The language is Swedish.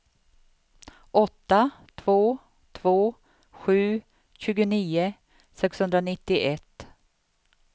åtta två två sju tjugonio sexhundranittioett